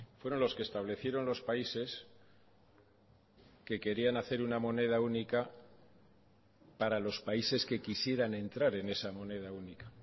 fueron los que establecieron los países que querían hacer una moneda única para los países que quisieran entrar en esa moneda única